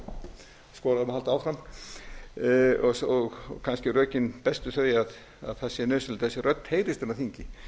og skorað á mig að halda áfram og kannski bestu rökin þau að það sé nauðsynlegt að þessi rödd heyrist á þingi